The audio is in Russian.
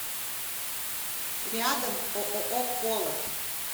рядом ооо колот